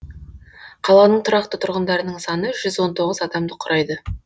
қаланың тұрақты тұрғындарының саны жүз он тоғыз адамды құрайды